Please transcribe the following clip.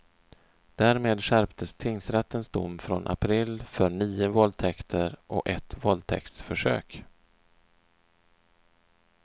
Därmed skärptes tingsrättens dom från april för nio våldtäktert och ett våldtäktsförsök.